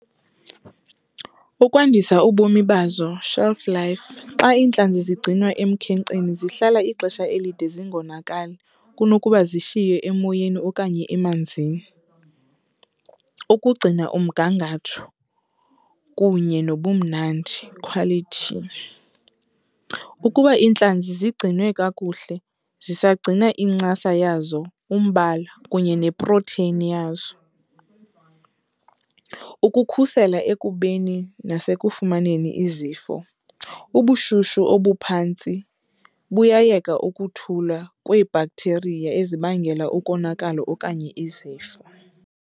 Ukwandisa ubomi bazo, shelf life, xa iintlanzi zigcinwa emkhenkceni zihlala ixesha elide zingonakali kunokuba zishiywe emoyeni okanye emanzini. Ukugcina umgangatho kunye nobumnandi, quality, ukuba iintlanzi zigcinwe kakuhle zisagcina incasa yazo, umbala kunye neprotheyini yazo. Ukukhusela ekubeni nasekufumaneni izifo, ubushushu obuphantsi buyayeka ukuthula kwee-bacteria ezibangela ukonakala okanye izifo.